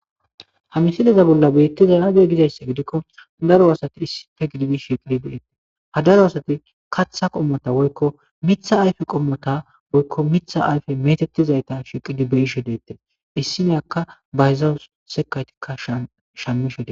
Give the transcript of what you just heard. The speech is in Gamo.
Ha missileza bolla bettizayi aze gizayissa gidikko daro asati issippe gididi shiqidi de'etes ha daro asati kaththa qomota woyikko miththa ayifa qomota woyikko miththa ayife metetizayita shiqidi eqidi beyishshe dettess issiniyakka bayizawus sekaytikka samishshe detes